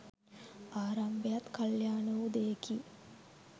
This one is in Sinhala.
ආරම්භයත් කළ්‍යාණ වූ දෙයකි